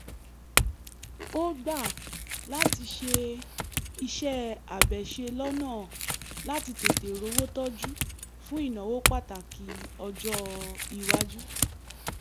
ó gbà láti ṣe iṣẹ́-àbẹ̀ṣe lọ́nà láti tètè rówó tọ́jú fún ìnáwó pàtàkì ọjọ́-iwájú